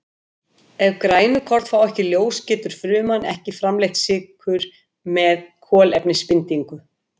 Ef grænukorn fá ekki ljós getur fruman ekki framleitt sykur með kolefnisbindingu.